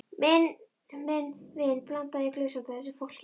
Minn vin blandaði í glös handa þessu fólki.